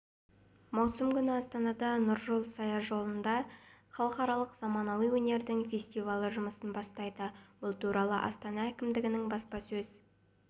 маусым күні астанада нұржол саяжолында халықаралық заманауи өнердің фестивалі жұмысын бастайды бұл туралы астана әкімдігінің баспасөз